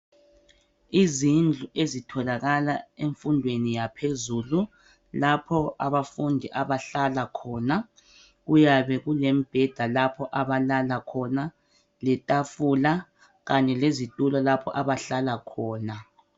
Izindlu ezitholakala emfundweni yaphezulu lapho abafundi abahlala khona kuyabe kulemibheda lapho abalala khona letafula kanye lezitulo lapho abahlala khona.